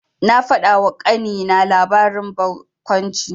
Na faɗawa ƙanina labarin barkwanci.